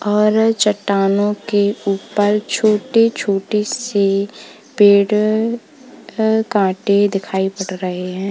और चट्टानों के ऊपर छोटे-छोटे से पेड़ अ कांटे दिखाई पड़ रहे हैं।